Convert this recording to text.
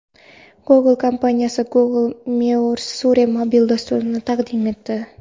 Google kompaniyasi Google Measure mobil dasturini taqdim etdi.